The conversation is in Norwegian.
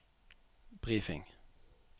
briefing